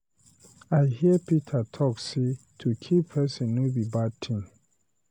I hear Peter talk say to kill person no be bad thing.